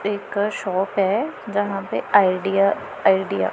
एक शाप है जहां पे आइडिया आइडिया --